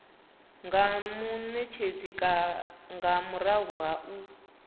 nga munetshedzi nga murahu ha